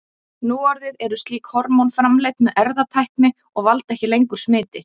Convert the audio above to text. Núorðið eru slík hormón framleidd með erfðatækni og valda ekki lengur smiti.